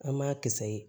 An m'a kisɛ ye